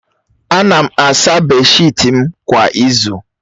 Ana m asa beeshịt m kwa izu